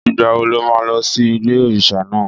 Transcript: Ìgbà wo lo má lọ sí ilé-òrísà náà?